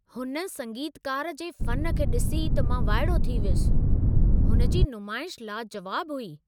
हुन संगीतकार जे फ़न खे ॾिसी त मां वाइड़ो थी वियुसि। हुन जी नुमाइश लाजवाबु हुई।